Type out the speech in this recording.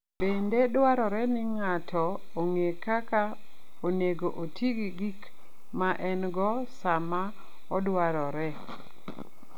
Bende dwarore ni ng'ato ong'e kaka onego oti gi gik ma en-go sama odwarore.